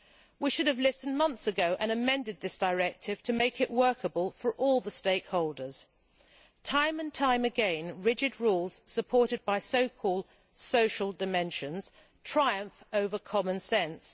We should have listened months ago and amended this directive to make it workable for all the stakeholders. Time and again, rigid rules supported by so called social dimensions triumph over common sense.